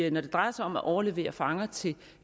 at når det drejer sig om at overlevere fanger til